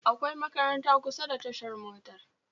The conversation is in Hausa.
Akwai makaranta kusa da tashar motar